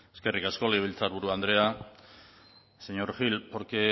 eskerrik asko legebiltzarburu andrea señor gil porque